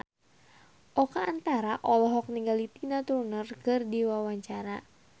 Oka Antara olohok ningali Tina Turner keur diwawancara